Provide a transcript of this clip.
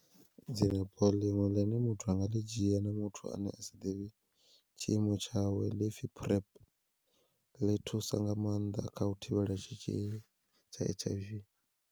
Dzilafho ḽiṅwe ḽine muthu a nga ḽi dzhia ndi muthu ane a sa ḓivhi tshiimo tshawe, ḽipfhi PrEP ḽi thusa nga maanḓa kha u thivhela tshitzhili tsha H_I_V